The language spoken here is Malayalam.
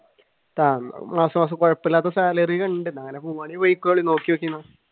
ആഹ് കൊഴപ്പമില്ലാത്ത salary ഉണ്ട്